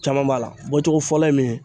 Caman b'a la, bɔcogo fɔlɔ ye min ye.